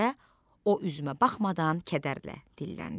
deyə o üzümə baxmadan kədərlə dilləndi.